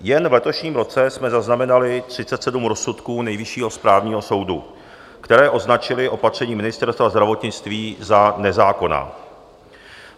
Jen v letošním roce jsme zaznamenali 37 rozsudků Nejvyššího správního soudu, které označily opatření Ministerstva zdravotnictví za nezákonná.